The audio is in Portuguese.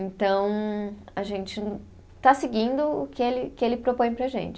Então, a gente está seguindo o que ele, que ele propõe para a gente.